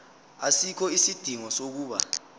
asikho isidingo sokuba